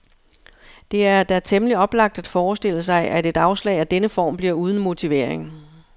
Det er da temmelig oplagt at forestille sig, at et afslag af denne form bliver uden motivering.